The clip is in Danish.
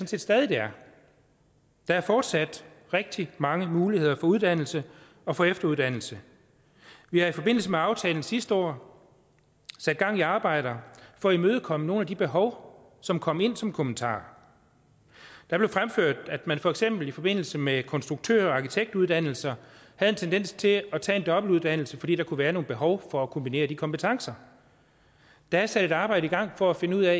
set stadig det er der er fortsat rigtig mange muligheder for uddannelse og for efteruddannelse vi har i forbindelse med aftalen sidste år sat gang i arbejder for at imødekomme nogle af de behov som kom ind som kommentarer der blev fremført at man for eksempel i forbindelse med konstruktør og arkitektuddannelserne havde en tendens til at tage en dobbelt uddannelse fordi der kunne være nogle behov for at kombinere de kompetencer der er sat et arbejde i gang for at finde ud af